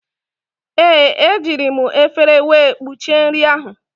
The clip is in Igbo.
Ee, ejiri m efere wee kpuchie nri ahụ.